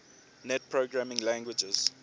net programming languages